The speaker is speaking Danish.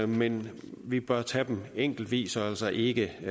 men vi bør tage dem enkeltvis og altså ikke